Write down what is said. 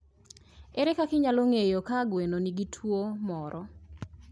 Ere kaka inyalo ng'eyo ka gwen gi nigi tuwo moro?